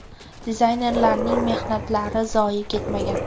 Dizaynerlarning mehnatlari zoye ketmagan.